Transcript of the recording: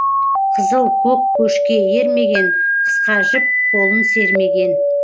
қызыл көк көшке ермеген қысқа жіп қолын сермеген